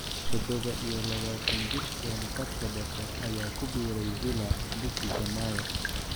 Todoba iyo labataan-jirkan khadka dhexe ayaa ku biiray Villa bishii Janaayo.